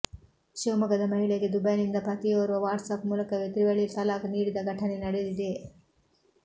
ಶಿವಮೊಗ್ಗದ ಮಹಿಳೆಗೆ ದುಬೈನಿಂದ ಪತಿಯೋರ್ವ ವಾಟ್ಸಾಪ್ ಮೂಲಕವೇ ತ್ರಿವಳಿ ತಲಾಕ್ ನೀಡಿದ ಘಟನೆ ನಡೆದಿದೆ